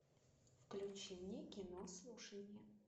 включи мне кино слушание